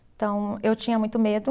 Então, eu tinha muito medo.